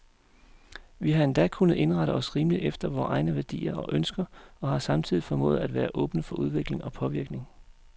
Vi har endda kunnet indrette os rimeligt efter vore egne værdier og ønsker, og har samtidig formået at være åbne for udvikling og påvirkning.